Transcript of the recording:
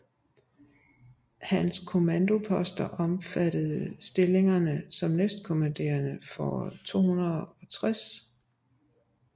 Hans kommandoposter omfattede stillingerne som næstkommanderende for 260